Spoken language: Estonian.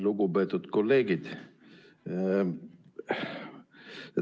Lugupeetud kolleegid!